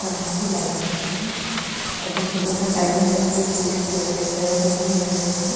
अब यहां पे लाइनें होती है अभी सुबह का टाइम है तो कोई स्टूडेंट वगैरह कोई नहीं आए हुए हैं।